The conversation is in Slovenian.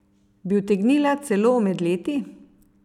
Bi utegnila celo omedleti?